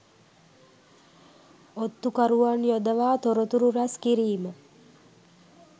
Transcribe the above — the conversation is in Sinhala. ඔත්තු කරුවන් යොදවා තොරතුරු රැස් කිරීම